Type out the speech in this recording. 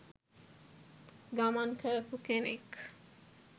ගමන් කරපු කෙනෙක්.